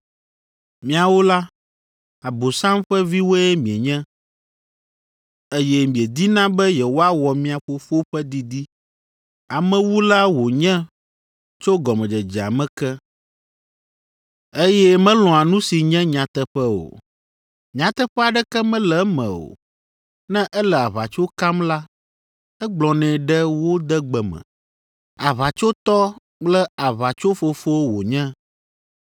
Miawo la, Abosam ƒe viwoe mienye, eye miedina be yewoawɔ mia fofo ƒe didi. Amewula wònye tso gɔmedzedzea me ke, eye melɔ̃a nu si nye nyateƒe o. Nyateƒe aɖeke mele eme o. Ne ele aʋatso kam la, egblɔnɛ ɖe wo de gbe me. Aʋatsotɔ kple aʋatsofofo wònye.